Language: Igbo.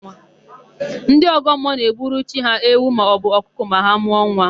Ndị ọgọmmụọ na-egburu chi ha ewu maọbụ ọkụkọ ma ha mụọ nwa.